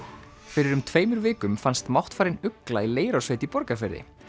fyrir um tveimur vikum fannst máttfarin ugla í Leirársveit í Borgarfirði